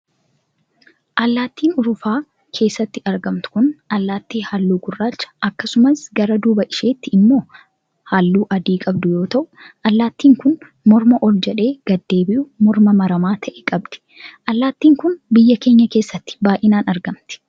Allaattiin urufa keessatti argamtu kun, allaattii halluu gurraacha akkasumas gara duuba isheetii immoo halluu adii qabdu yoo ta'u, allaattiin kun morma ol jedhee gadi deebi'u morma maramaa ta'e qabdi. Allaattiin kun, biyya keenya keessatti baay'inaan argamti.